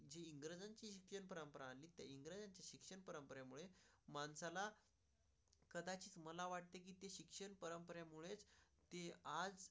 आमचा लळा. कदाचित मला वाटतं किती शिक्षण परंपरामुळेच आज असा.